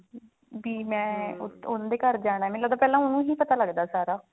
ਜੀ ਮੈਂ ਦੇ ਘਰ ਜਾਣਾ ਮੈਨੂੰ ਲੱਗਦਾ ਪਹਿਲਾਂ ਉਹਨੂੰ ਹੀ ਪਤਾ ਲੱਗਦਾ ਸਾਰਾ